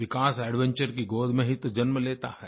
विकास adventure की गोद में ही तो जन्म लेता है